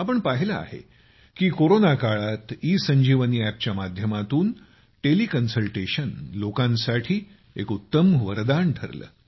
आपण पाहिलं आहे की कोरोनाकाळात ईसंजीवनी अॅपच्या माध्यमातून टेलिकन्सल्टेशन लोकांसाठी एक उत्तम वरदान ठरलं